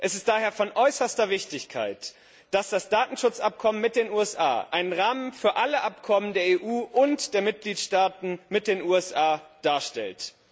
Es ist daher von äußerster Wichtigkeit, dass das Datenschutzabkommen mit den USA einen Rahmen für alle Abkommen der EU und der Mitgliedstaaten mit den USA darstellt.